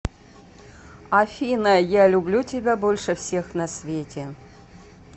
афина я люблю тебя больше всех на свете